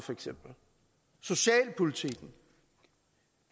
og socialpolitikken